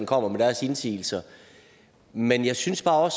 kommer med deres indsigelser men jeg synes bare